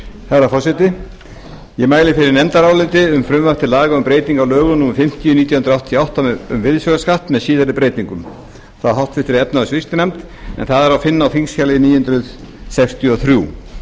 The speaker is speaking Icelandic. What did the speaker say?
herra forseti ég mæli fyrir nefndaráliti um frumvarp til laga um breytingu á lögum númer fimmtíu nítján hundruð áttatíu og átta um virðisaukaskatt með síðari breytingum frá háttvirtri efnahags og viðskiptanefnd en það er að finna á þingskjali níu hundruð sextíu og þrjú